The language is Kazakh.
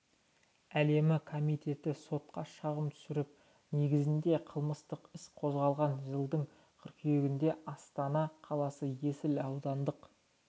әлемі комитеті сотқа шағым түсіріп негізінде қылмыстық іс қозғалған жылдың қыркүйегінде астана қаласы есіл аудандық